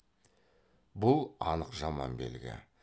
бұл анық жаман белгі